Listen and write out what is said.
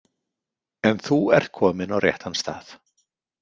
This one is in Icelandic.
En þú ert kominn á réttan stað.